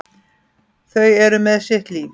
Þau eru með sitt líf.